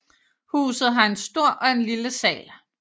Huset har en stor og en lille sal